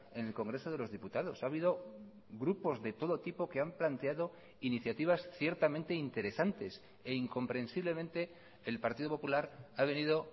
en el congreso de los diputados ha habido grupos de todo tipo que han planteado iniciativas ciertamente interesantes e incomprensiblemente el partido popular ha venido